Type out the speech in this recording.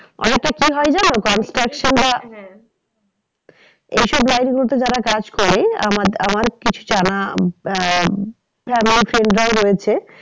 অযথা কি হয় জানো এই সব line গুলোতে যারা কাজ করে আমার, আমার কিছু জানা আহ family friends রাও রয়েছে।